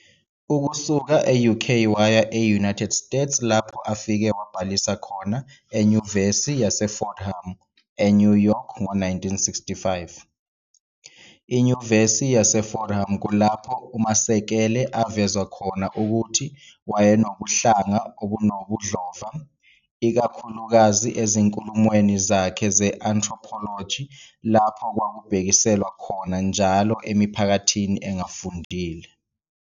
Ukusuka e-UK waya e-United States lapho afike wabhalisa khona eFordham University, eNew York ngo-1965. I-Fordham University kulapho uMasekele avezwa khona ukuthi wayenobuhlanga obunobudlova, ikakhulukazi ezinkulumweni zakhe ze-anthropology lapho kwakubhekiselwa khona njalo emiphakathini engafundile.